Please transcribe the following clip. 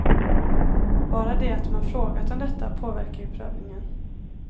Bara det att man frågat om detta påverkar ju prövningen.